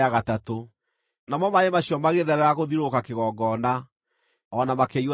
Namo maaĩ macio magĩtherera gũthiũrũrũka kĩgongona, o na makĩiyũra mũtaro.